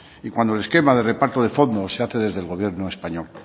y cuando el esquema de reparto de fondos se hace desde el gobierno español